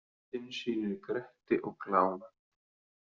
Myndin sýnir Gretti og Glám.